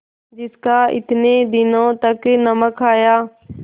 जिसका इतने दिनों तक नमक खाया